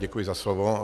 Děkuji za slovo.